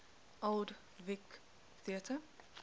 old vic theatre